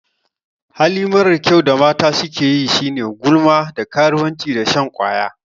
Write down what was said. Hali marar kyau da mata sukeyi shine gulma, da karuwanci da shan ƙwaya.